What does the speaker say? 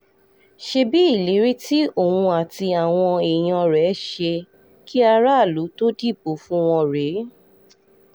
ṣebí ìlérí tí òun àti àwọn èèyàn rẹ̀ ṣe kí aráàlú tóó dìbò fún wọn rèé